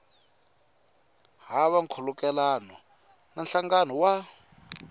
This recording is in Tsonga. hava nkhulukelano na nhlangano wa